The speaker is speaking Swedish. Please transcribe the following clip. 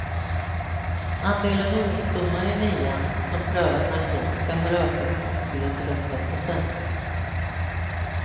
Andelen ungdomar i nian som prövat narkotika har ökat från tre till åtta procent.